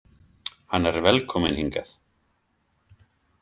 Hann er velkominn hingað.